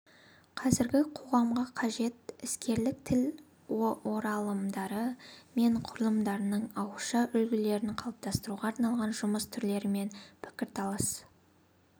қазіргі қоғамға қажет іскерлік тіл оралымдары мен құрылымдарының ауызша үлгілерін қалыптастыруға арналған жұмыс түрлері мен пікірталас